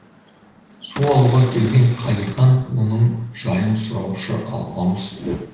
су алуға келген қалихан оның жайын сұраушы алпамыс